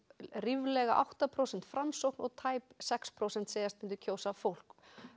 ríflega átta prósent Framsókn og tæp sex prósent segjast myndu kjósa fólk